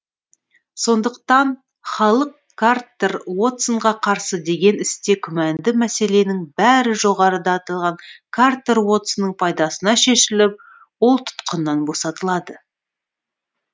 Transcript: сондықтан халық картер уотсонға қарсы деген істе күмәнді мәселенің бәрі жоғарыда аталған картер уотсонның пайдасына шешіліп ол тұтқыннан босатылады